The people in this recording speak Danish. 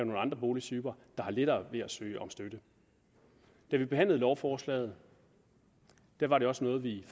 med andre boligtyper der har lettere ved at søge om støtte da vi behandlede lovforslaget var det også noget vi